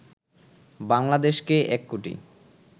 বাংলাদেশকে ১ কোটি